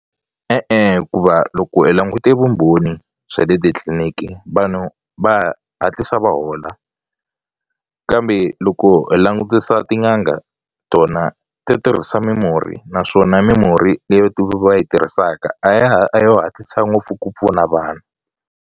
E-e, hikuva loko hi langute vumbhoni bya le titliliniki vanhu va hatlisa va hola kambe loko hi langutisa tin'anga tona ti tirhisa mimurhi naswona mimurhi leti va yi tirhisaka a ya ha a yo hatlisa ngopfu ku pfuna vanhu.